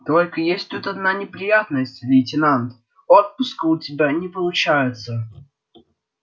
только есть тут одна неприятность лейтенант отпуска у тебя не получается